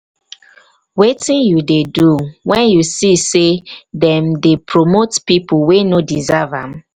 wetin you dey do when you see say dem dey promote people wey no deserve am?